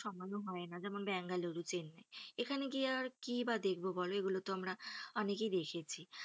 সমানো হয় না যেমন বাঙ্গালুরু, চেন্নাই এখানে গিয়ে কি বা আর দেখবো বলো এগুলোতে আমরা অনেকেই দেখেছি,